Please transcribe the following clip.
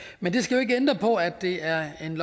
men det skal jo ikke ændre på at det er et